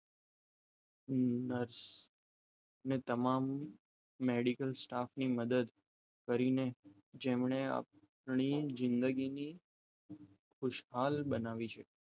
nurse ને તમામ medical સ્ટાફની મદદથી કરીને જેમણે આપણી જિંદગીની ખુશાલ બનાવી છે